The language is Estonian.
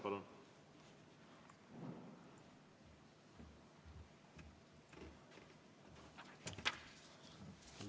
Palun!